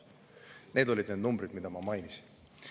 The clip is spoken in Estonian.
Need olid need numbrid, mida ma mainisin.